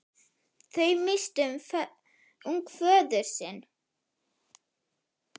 Þau misstu ung föður sinn.